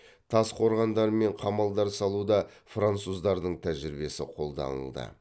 тас қорғандар мен қамалдар салуда француздардың тәжірибесі қолданылды